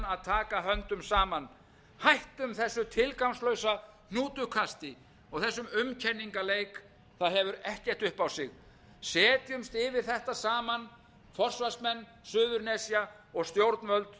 taka höndum saman hættum þessu tilgangslausa hnútukasti og þessum umkenningaleik það hefur ekkert upp á sig setjumst yfir þetta saman forsvarsmenn suðurnesja og stjórnvöld